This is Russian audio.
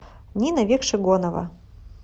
нина векшигонова